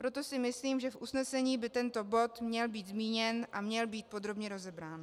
Proto si myslím, že v usnesení by tento bod měl být zmíněn a měl být podrobně rozebrán.